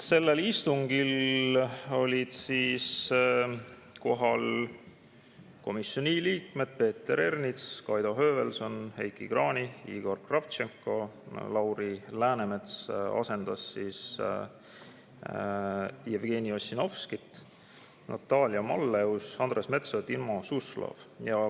Sellel istungil olid kohal komisjoni liikmed Peeter Ernits, Kaido Höövelson, Heiki Kranich, Igor Kravtšenko, Lauri Läänemets, kes asendas Jevgeni Ossinovskit, Natalia Malleus, Andres Metsoja ja Timo Suslov.